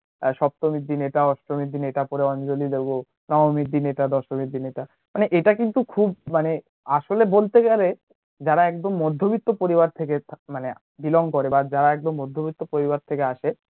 আর সপ্তমীর দিন এটা অষ্টমীর এটা পরে অঞ্জলী দেবো নবমীর দিন এটা দশমীর দিন এটা, মানে এটা কিন্তু খুব মানে আসলে বলতে গেলে যারা একদম মধ্যবিত্ত পরিবার থেকে মানে belong করে বা যারা একদম মধ্যবিত্ত পরিবার খেকে আসে